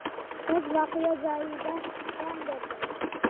Qiz voqea joyida jon bergan.